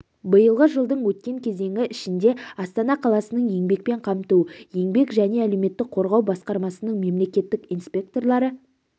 биылғы жылдың өткен кезеңі ішінде астана қаласының еңбекпен қамту еңбек және әлеуметтік қорғау басқармасының мемлекеттік инспекторлары